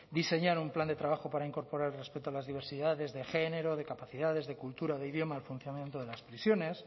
diseñar un plan de trabajo para incorporar el respeto a las diversidades de género de capacidades de cultura de idioma del funcionamiento de las prisiones